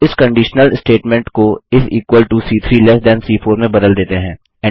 अब इस conditional statement को इस equal to C3 less than सी4 में बदल देते हैं